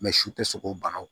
su tɛ sogo banaw